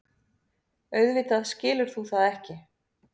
Auðvitað skilur þú það ekki.